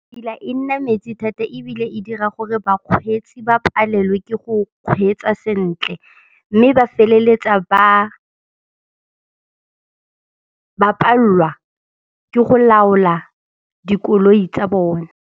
e nna metsi thata ebile e dira gore bakgweetsi ba palelwe ke go kgweetsa sentle mme ba feleletsa ba ba pallwa ke go laola dikoloi tsa bone.